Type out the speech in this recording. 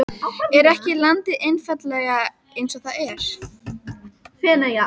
Er ekki landið einfaldlega eins og það er?